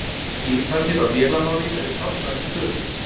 Skipanir á vélarmáli eru táknaðar með tölum.